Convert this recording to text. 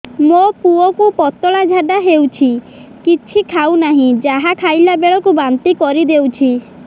ମୋ ପୁଅ କୁ ପତଳା ଝାଡ଼ା ହେଉଛି କିଛି ଖାଉ ନାହିଁ ଯାହା ଖାଇଲାବେଳକୁ ବାନ୍ତି କରି ଦେଉଛି